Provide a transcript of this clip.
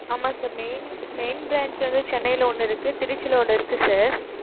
ஆமா, sir, main, main branch வந்து, சென்னையில ஒண்ணு இருக்கு, திருச்சியில ஒண்ணு இருக்கு, sir